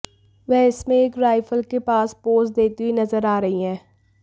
वह इनमें एक राइफल के पास पोज देती हुई नजर आ रही हैं